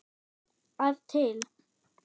að til.